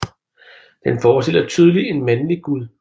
Den forestiller tydeligt en mandlig gud